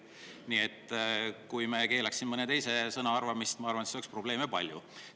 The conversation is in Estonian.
Kui me keelaks siin mõne teise, siis, ma arvan, oleks probleeme palju.